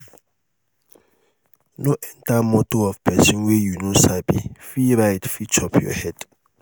no enter motor of pesin wey you no sabi free ride fit chop your head